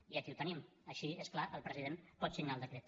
i aquí ho tenim així és clar el president pot signar el decret